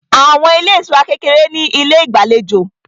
Àwọn ilé ìtura kékeré ní ilé ìgbàlejò